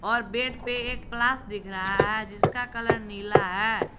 और बेड पे एक प्लास दिख रहा है जिसका कलर नीला है।